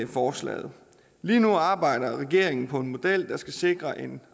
forslaget lige nu arbejder regeringen på en model der skal sikre en